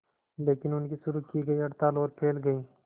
लेकिन उनकी शुरू की गई हड़ताल और फैल गई